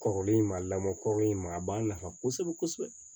Kɔrɔlen in ma lamɔ kɔrɔlen in ma a b'a nafa